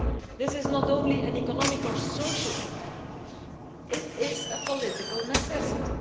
This is not only an economic or social imperative, but is a political necessity.